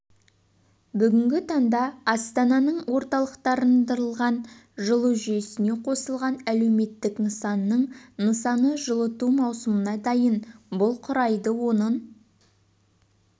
бүгінгі таңда астананың орталықтандырылған жылу жүйесіне қосылған әлеуметтік нысанының нысаны жылыту маусымына дайын бұл құрайды оның